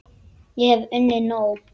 Ég hef unnið nóg!